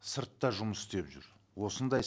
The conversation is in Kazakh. сыртта жұмыс істеп жүр осындай